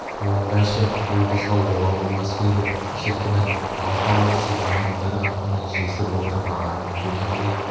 онда ше ол қызға обал болмас па еді шіркін-ай алты ауыл сибанның бір қатыны жесір отырмағанын кердің бе